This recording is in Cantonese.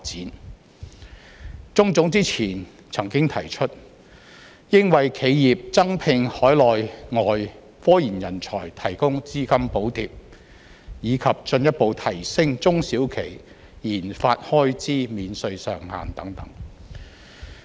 香港中華總商會之前曾經提出，當局應為企業增聘海內外科研人才提供資金補貼，以及進一步提升中小企研發開支免稅上限等。